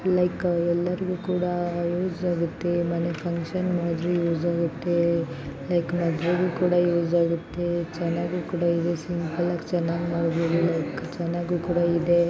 Like ಎಲ್ಲರಿಗೂ ಕೂಡ use ಆಗುತ್ತೆ ಮನೆ ಫಂಕ್ಷನ್ ಗಾದ್ರು ಯೂಸ್ ಆಗುತ್ತೆ ಲೈಕ್ ಮದುವೆಗೂ ಕೂಡ ಯೂಸ್ ಆಗುತ್ತೆ ಚನ್ನಾಗೂ ಕೂಡ ಯೂಸ್ ಕೂಡ ಎಲ್ಲಾ ಚೆನ್ನಾಗಿ ಮಾಡಬಹುದು ಲೈವ್ ಚನ್ನಗೂ ಕೂಡ ಇದೆ.